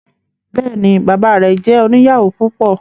Bẹẹni, baba rẹ jẹ oniyawo púpọ